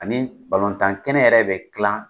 Ani balontan kɛnɛ yɛrɛ bɛ dilan